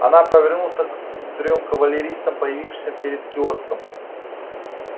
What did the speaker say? она повернулся к трём кавалеристам появившимся перед киоском